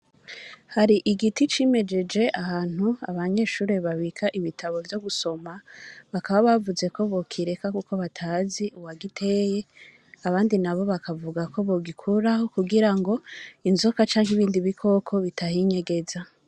Hari igiti cimijeje ahantu abanyeshuri babika ibitabo co gusoma bakaba bavuze ko kireka kuko batazi uwagiteye abandi nabo bakavugako bo gikuraho kugirango inzoka canke ibindi bikoko bitahinyegeza.